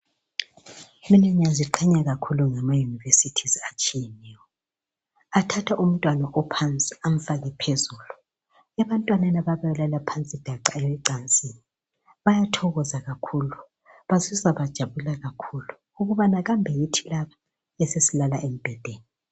mina ngiyaziqhenya kakhulu ngama universities atshiyeneyo athatha umntwana ophansi amfake phezulu ebantwaneni ababelala phansi daca ecansini bayathokoza kakhulu bazizwa bejabula kakhulu ukubana kambe yithi laba esesilala embhedeni